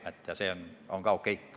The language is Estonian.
Mihhail Lotman, palun!